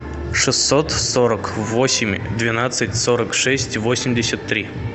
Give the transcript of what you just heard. шестьсот сорок восемь двенадцать сорок шесть восемьдесят три